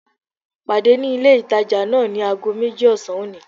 Pàdé ní ilé ìtajà náà ní ago méjì ọ̀sán òní